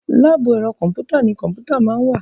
láàbù ẹ̀rọ kọ̀m̀pútà ni kọ̀m̀pútà máa ń wà.